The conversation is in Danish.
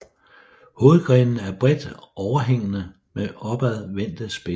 Hovedgrenene er bredt overhængende med opadvendte spidser